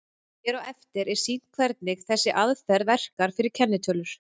Hér á eftir er sýnt hvernig þessi aðferð verkar fyrir kennitölur.